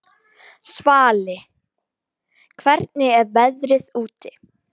Svali, hvernig er veðrið úti?